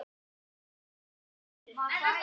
Áttu byssu?